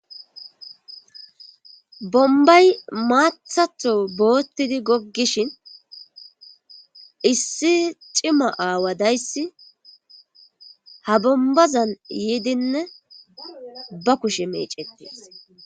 Bombay maathatho boottidi goggishin issi cima aawa dayssi ha bombazan yiidinne ba kushe meecettees.